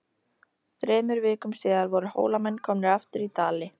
Þremur vikum síðar voru Hólamenn komnir aftur í Dali.